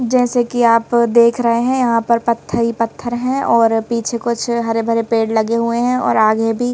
जैसे कि आप देख रहे हैं यहां पर पत्थरी पत्थर हैं और पीछे कुछ हरे भरे पेड़ लगे हुए हैं और आगे भी--